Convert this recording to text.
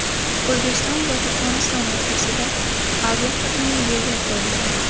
O‘zbekiston va Turkmaniston o‘rtasida aviaqatnov yo‘lga qo‘yiladi.